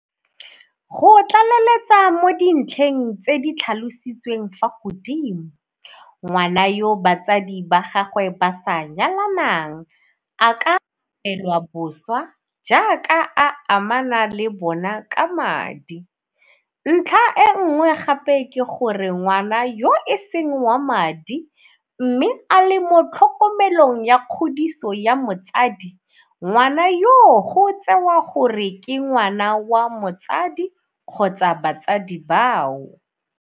Go tlaleletsa mo dintlheng tse di tlhalositsweng fa godimo, ngwana yo batsadi ba gagwe ba sa nyalanang a ka abelwa boswa jaaka a amana le bona ka madi, ntlha e nngwe gape ke gore ngwana yo e seng wa madi mme a le mo tlhokomelong ya kgodiso ya motsadi, ngwana yoo go tsewa gore ke ngwana wa motsadi kgotsa batsadi bao.